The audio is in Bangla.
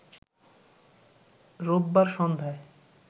রোববার সন্ধায়